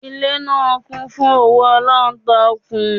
Ilé náà kún fún òwú alántakùn